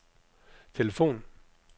telefon